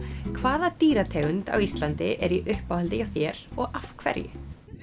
hvaða dýrategund á Íslandi er í uppáhaldi hjá þér og af hverju